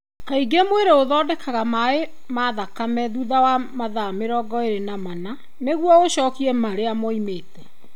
Kaingĩ mwĩrĩ ũthondekaga maĩ ma thakame thutha wa mathaa mĩrongo ĩna na mana nĩguo ũcokie marĩa maumĩte.